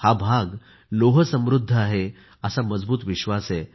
हा भाग लोह समृद्ध आहे असा मजबूत विश्वास आहे